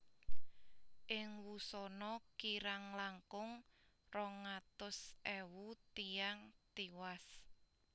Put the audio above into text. Ing wusana kirang langkung rong atus ewu tiyang tiwas